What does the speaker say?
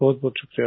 बहुत शुक्रिया